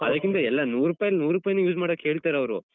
ಅದಕ್ಕಿಂತ ಎಲ್ಲ ನೂರುಪಾಯಲ್ಲಿ ನೂರುಪಾಯಿನೂ use ಮಾಡೋಕೆ ಹೇಳ್ತಾರಾವ್ರು.